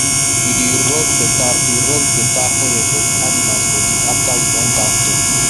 we dey rub better dey rub better oil for the animals body afer we don baff dem